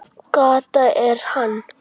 Kata er hann!